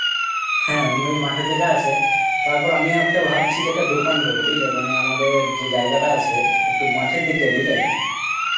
হ্যাঁ, এমনি মাঠের দিকে আছে তারপর আমিও একটা ভাবছি যে একটা দোকান করবো বুঝলে মানে আমাদের যে জায়গাটা আছে একটু মাঠের দিকে, বুঝলে?